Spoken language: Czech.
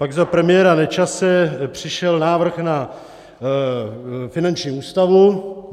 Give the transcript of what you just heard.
Pak za premiéra Nečase přišel návrh na finanční ústavu.